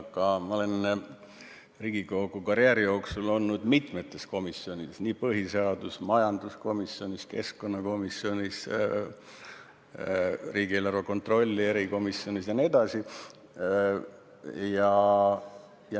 Aga ma olen Riigikogu karjääri jooksul olnud mitmes komisjonis: põhiseadus‑, majandus-, keskkonnakomisjonis, riigieelarve kontrolli erikomisjonis jne.